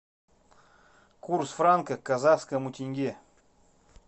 курс франка к казахскому тенге